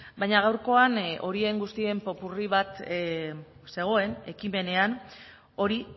baina gaurkoan horien guztien popurri bat zegoen ekimenean hori